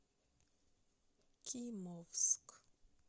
кимовск